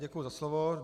Děkuji za slovo.